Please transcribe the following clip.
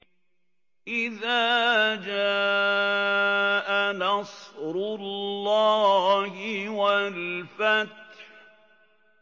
إِذَا جَاءَ نَصْرُ اللَّهِ وَالْفَتْحُ